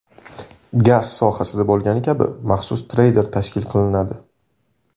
Gaz sohasida bo‘lgani kabi maxsus treyder tashkil qilinadi.